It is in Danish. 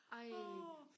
ej